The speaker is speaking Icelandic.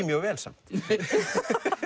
mjög vel samt